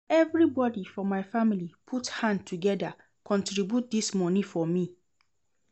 Na everybodi for my family put hand togeda contribute dis moni for me.